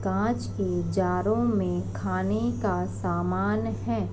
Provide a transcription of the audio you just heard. काँच की जारों में खाने का सामान है।